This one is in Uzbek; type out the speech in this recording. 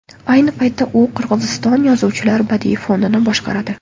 Ayni paytda u Qirg‘iziston Yozuvchilar badiiy fondini boshqaradi.